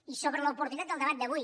i sobre l’oportunitat del debat d’avui